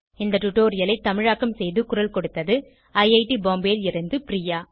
இந்த டுடோரியலை தமிழாக்கம் செய்து குரல் கொடுத்தது ஐஐடி பாம்பேவில் இருந்து பிரியா